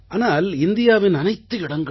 ஆனால் இந்தியாவின் அனைத்து இடங்களுமே